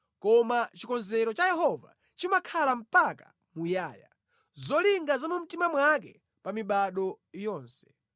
Koma chikonzero cha Yehova chimakhala mpaka muyaya, zolinga za mu mtima mwake pa mibado yonse.